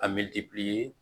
A mɛ